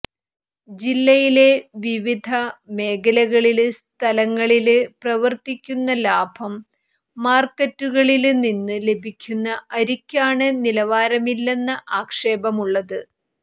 ജില്ലയിലെ വിവധ മേഖലകളില് സ്ഥലങ്ങളില് പ്രവര്ത്തിക്കുന്ന ലാഭം മാര്ക്കറ്റുകളില് നിന്നും ലഭിക്കുന്ന അരിക്കാണ് നിലവാരമില്ലെന്ന ആക്ഷേപമുള്ളത്